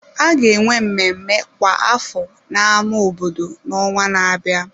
A ga-enwe mmemme kwa afọ na ámá obodo n'ọnwa na-abịa.